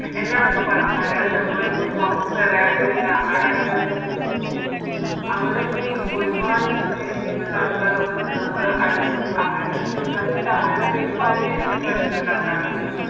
എന്നോടൊക്കെ പറഞ്ഞിറ്റുണ്ട് അതായത് നമ്മളിപ്പം പൊറത്ത് അതായത് കർണ്ണാടകത്തിലൊക്കെ പോകുമ്പോ അവിടേക്ക് ഒരുപാട് ഇത് ഇങ്ങനെയുള്ള ആൾക്കാര് വന്ന് നമ്മളെ അടുത്ത് അവരുടെ ചെല സമയത്ത് അവരുടെ പെരുമാറ്റം എനിക്ക് പ്രശ്നണ്ടാക്കറിണ്ട്